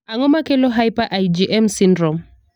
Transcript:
Ang'o makelo hyper IgM syndrome?